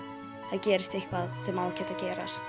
það gerist eitthvað sem á ekkert að gerast